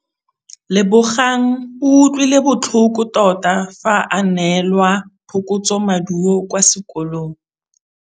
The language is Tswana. Lebogang o utlwile botlhoko tota fa a neelwa phokotsômaduô kwa sekolong.